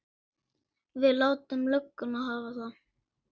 Við látum lögguna hafa það.